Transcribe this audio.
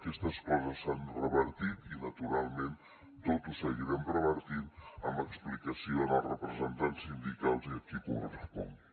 aquestes coses s’han revertit i naturalment tot ho seguirem revertint amb explicació als representants sindicals i a qui correspongui